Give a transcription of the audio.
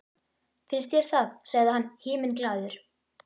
Finnst þér það? sagði hann himinglaður.